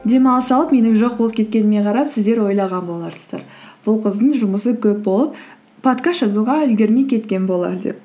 демалыс алып менің жоқ болып кеткеніме қарап сіздер ойлаған боларсыздар бұл қыздың жұмысы көп болып подкаст жазуға үлгермей кеткен болар деп